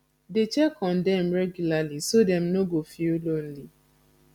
dey check on dem regularly so dem no go feel lonely